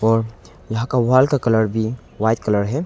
यहाँ का वाल का कलर भी वाइट कलर है।